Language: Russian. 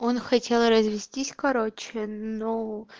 он хотел развестись короче но